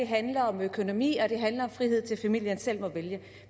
handler om økonomi og det handler om frihed til at familierne selv kan vælge